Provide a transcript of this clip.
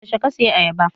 Yaushe ka saya ayaba?